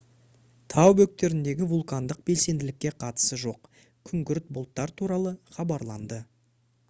тау бөктеріндегі вулкандық белсенділікке қатысы жоқ күңгірт бұлттар туралы хабарланды